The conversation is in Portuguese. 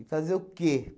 E fazer o quê?